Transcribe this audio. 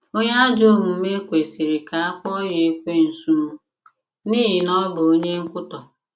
“ Onye ajọ omume ” kwesịrị ka a kpọọ ya Ekwensu, n’ihi na ọ bụ onye nkwutọ.